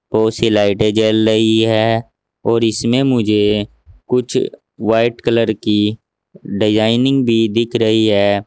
बहोत सी लाइटे जल रही हैं और इसमें मुझे कुछ वाइट कलर की डिजाइनिंग भी दिख रही है।